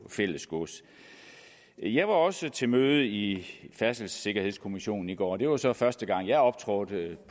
fælles gods jeg var også til møde i færdselssikkerhedskommissionen i går og det var så første gang jeg optrådte